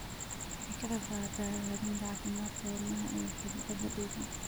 Waxay ka qaybqaadataa hagaajinta caafimaadka wadnaha iyo xididdada dhiigga.